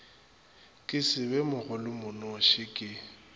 ke se be mogolomonoši ke